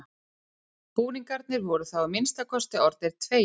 Búningarnir voru þá að minnsta kosti orðnir tveir.